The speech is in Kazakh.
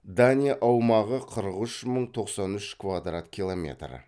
дания аумағы қырық үш мың тоқсан үш квадрат километр